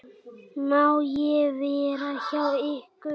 Má ég vera hjá ykkur?